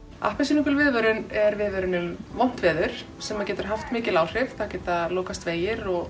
appelsínugul viðvörun er viðvörun um vont veður sem getur haft mikil áhrif það geta lokast vegir og